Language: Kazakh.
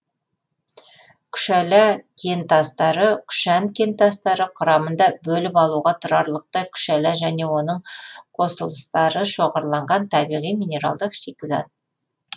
күшәла кентастары күшән кентастары құрамында бөліп алуға тұрарлықтай күшәла және оның қосылыстары шоғырланған табиғи минералдық шикізат